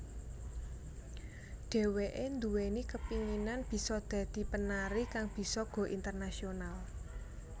Dheweké nduweni kepinginan bisa dadi penari kang bisa go internasional